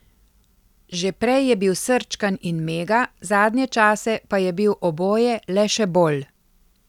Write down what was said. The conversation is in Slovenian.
Že prej je bil srčkan in mega, zadnje čase pa je bil oboje le še bolj.